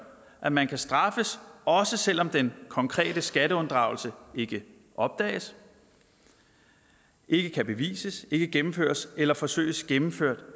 at man kan straffes også selv om den konkrete skatteunddragelse ikke opdages ikke kan bevises ikke gennemføres eller forsøges gennemført